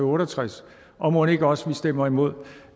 otte og tres år og mon ikke også at vi stemmer imod